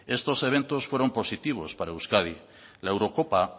estos eventos fueron positivos para euskadi la eurocopa